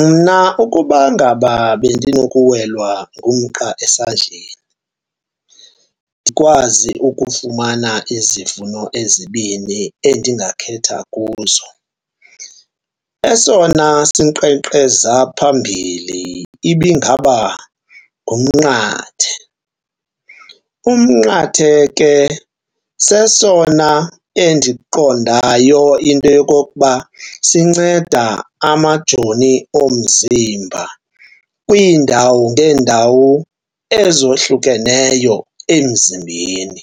Mna ukuba ngaba bendinokuwelwa ngumqa esandleni ndikwazi ukufumana izivuno ezibini endingakhetha kuzo, esona sinkqenkqeza phambili ibingaba ngumnqathe. Umnqathe ke sesona endiqondayo into yokokuba sinceda amajoni omzimba kwiindawo ngeendawo ezohlukeneyo emzimbeni.